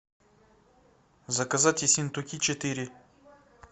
заказать есентуки четыре